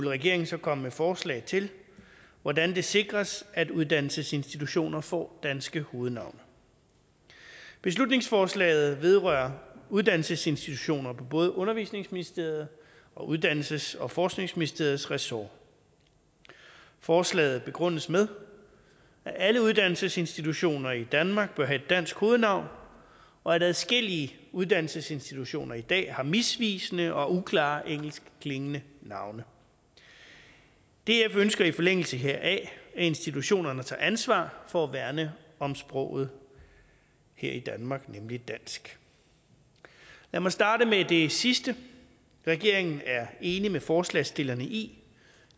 regeringen så komme med forslag til hvordan det sikres at uddannelsesinstitutioner får danske hovednavne beslutningsforslaget vedrører uddannelsesinstitutioner på både undervisningsministeriets og uddannelses og forskningsministeriets ressorter forslaget begrundes med at alle uddannelsesinstitutioner i danmark bør have et dansk hovednavn og at adskillige uddannelsesinstitutioner i dag har misvisende og uklare engelskklingende navne df ønsker i forlængelse heraf at institutionerne tager ansvar for at værne om sproget her i danmark nemlig dansk lad mig starte med det sidste regeringen er enig med forslagsstillerne i